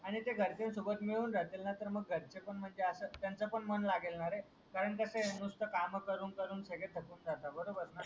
आणि ते घरचयन सोबत मिडून राहतील ना तर मग घरचे म्हणजे आस त्यांच पण मन लागेल ना रे कारण कस आहे नुसते काम करून करून सगडे थकून जातात बरोबर ना